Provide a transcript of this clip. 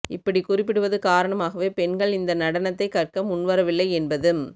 இப்படி குறிப்பிடுவது காரணமாகவே பெண்கள் இந்த நடனத்தைக் கற்க முன்வரவில்லை என்பதும்